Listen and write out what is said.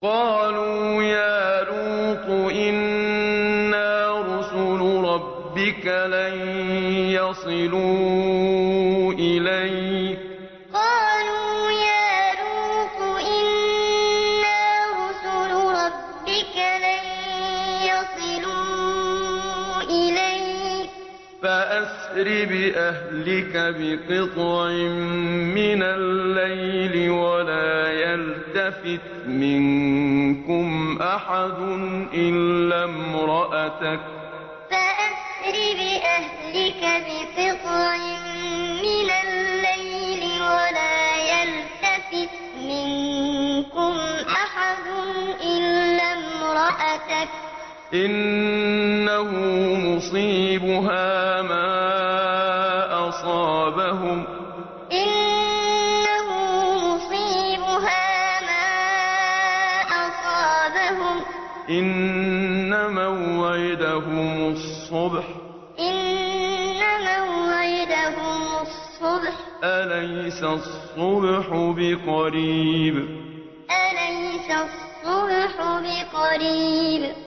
قَالُوا يَا لُوطُ إِنَّا رُسُلُ رَبِّكَ لَن يَصِلُوا إِلَيْكَ ۖ فَأَسْرِ بِأَهْلِكَ بِقِطْعٍ مِّنَ اللَّيْلِ وَلَا يَلْتَفِتْ مِنكُمْ أَحَدٌ إِلَّا امْرَأَتَكَ ۖ إِنَّهُ مُصِيبُهَا مَا أَصَابَهُمْ ۚ إِنَّ مَوْعِدَهُمُ الصُّبْحُ ۚ أَلَيْسَ الصُّبْحُ بِقَرِيبٍ قَالُوا يَا لُوطُ إِنَّا رُسُلُ رَبِّكَ لَن يَصِلُوا إِلَيْكَ ۖ فَأَسْرِ بِأَهْلِكَ بِقِطْعٍ مِّنَ اللَّيْلِ وَلَا يَلْتَفِتْ مِنكُمْ أَحَدٌ إِلَّا امْرَأَتَكَ ۖ إِنَّهُ مُصِيبُهَا مَا أَصَابَهُمْ ۚ إِنَّ مَوْعِدَهُمُ الصُّبْحُ ۚ أَلَيْسَ الصُّبْحُ بِقَرِيبٍ